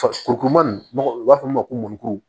Fa kuru kuruman u b'a fɔ min ma ko mɔnikuru